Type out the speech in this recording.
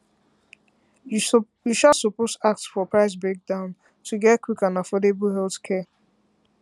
you um suppose ask for um price breakdown to breakdown to get quick and affordable healthcare